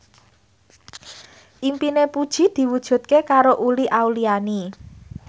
impine Puji diwujudke karo Uli Auliani